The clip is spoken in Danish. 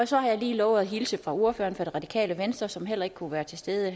så har jeg lovet at hilse fra ordføreren for det radikale venstre som heller ikke kunne være til stede